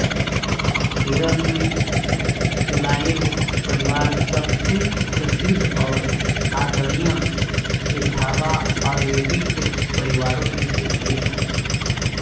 केरल में चोलायिल परिवार सबसे प्रसिद्ध और आदरणीय एझावा आयुर्वेदिक परिवारों में से एक है